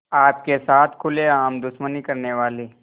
आपके साथ खुलेआम दुश्मनी करने वाले